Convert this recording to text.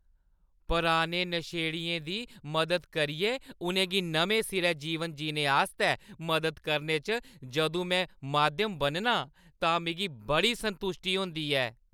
पराने नशेड़ियें दी मदद करियै उʼनें गी नमें सिरेआ जीवन जीने आस्तै मदद करने च जदूं में माध्यम बननां तां मिगी बड़ी संतुश्टी होंदी ऐ।